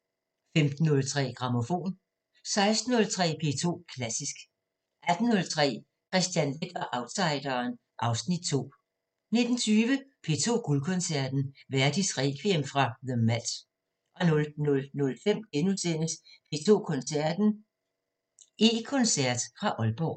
* 15:03: Grammofon 16:03: P2 Klassisk 18:03: Kristian Leth og outsideren (Afs. 2) 19:20: P2 Guldkoncerten – Verdis Requiem fra the Met 00:05: P2 Koncerten – E-koncert fra Aalborg *